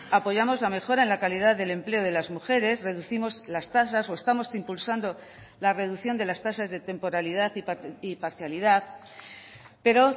apoyamos la mejora en la calidad del empleo de las mujeres reducimos las tasas o estamos impulsando la reducción de las tasas de temporalidad y parcialidad pero